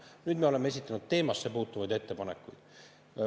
Nüüd me oleme esitanud teemasse puutuvaid ettepanekuid.